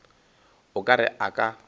o ka re a ka